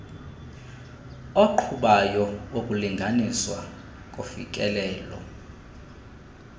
oqhubayo wokulinganiswa kofikelelo